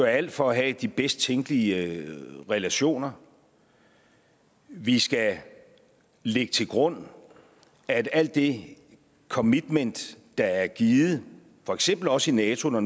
alt for at have de bedst tænkelige relationer vi skal lægge til grund at alt det commitment der er givet for eksempel også i nato når